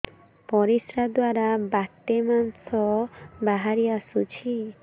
ପରିଶ୍ରା ଦ୍ୱାର ବାଟେ ମାଂସ ବାହାରି ଆସୁଛି